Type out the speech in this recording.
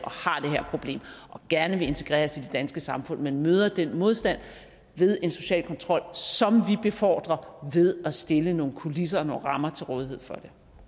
og og gerne vil integreres i det danske samfund men møder den modstand ved en social kontrol som vi befordrer ved at stille nogle kulisser og nogle rammer til rådighed for